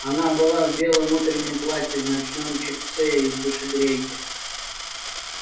она была в белом утреннем платье в ночном чепце и в душегрейке